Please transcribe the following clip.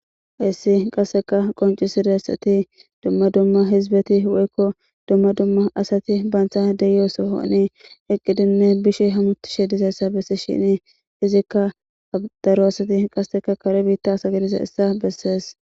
Issi qasseka qoncisiressati dumma dumma hizbeti woykko dumma dumma asati baantha deyosohoni eqqidinne bishi hamutishe dizayssa bessi shini izikka daro asati qasseka kare biitta asa gadiza issa bessees.